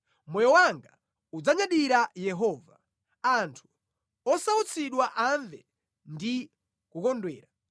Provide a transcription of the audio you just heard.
Moyo wanga udzanyadira Yehova; anthu osautsidwa amve ndi kukondwera.